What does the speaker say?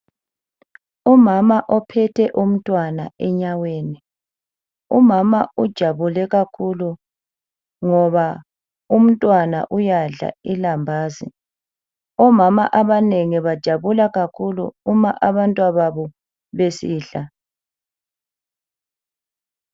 Umama ophethe umntwana enyaweni, umama ujabule kakhulu ngoba umntwana uyadla ilambazi, omama abanengi bajabula kakhulu uma abantwababo besidla.